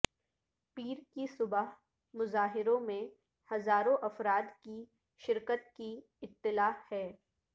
پیر کی صبح مظاہروں میں ہزاروں افراد کی شرکت کی اطلاع ہے